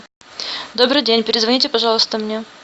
добрый день перезвоните пожалуйста мне